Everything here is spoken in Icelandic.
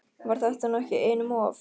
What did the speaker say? Var þetta nú ekki einum of?